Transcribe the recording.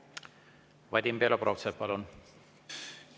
Vadim Belobrovtsev, palun!